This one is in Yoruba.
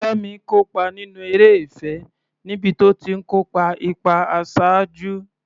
Fẹ́mi kópa nínú eré ìfẹ́ níbi tó ti ń kó ipa àṣáájú.